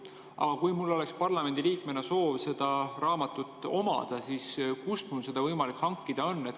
Aga kui mul oleks parlamendiliikmena soov seda raamatut omada, siis kust mul seda võimalik hankida oleks?